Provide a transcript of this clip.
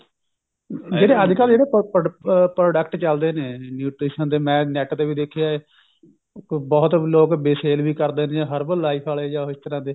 ਜਿਹੜੇ ਅੱਜਕਲ ਇਹਦੇ product ਚੱਲਦੇ ਨੇ nutrition ਦੇ ਮੈਂ net ਤੇ ਵੀ ਦੇਖਿਆ ਬਹੁਤ ਲੋਕ sale ਵੀ ਕਰਦੇ ਨੇ herbal life ਆਲੇ ਜਾ ਇਸ ਤਰ੍ਹਾਂ ਦੇ